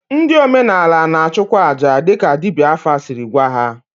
Ndị omenala na-achụkwa aja dịka dibịa afa siri gwa ha.